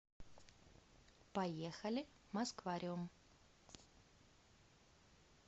поехали москвариум